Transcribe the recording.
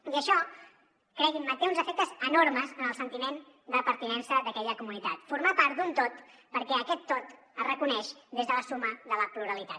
i això creguin me té uns efectes enormes en el sentiment de pertinença d’aquella comunitat formar part d’un tot perquè aquest tot es reconeix des de la suma de la pluralitat